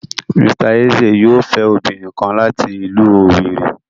Mr Eze yoo fẹ obinrin kan lati ilu Owerri